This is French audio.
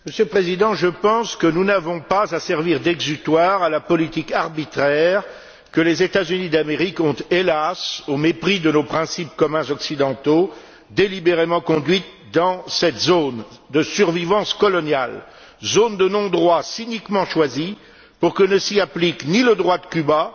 Monsieur le Président, je pense que nous n'avons pas à servir d'exutoire à la politique arbitraire que les États Unis d'Amérique ont, hélas, au mépris de nos principes communs occidentaux, délibérément conduite dans cette zone de survivance coloniale, zone de non droit cyniquement choisie pour que ne s'y applique ni le droit de Cuba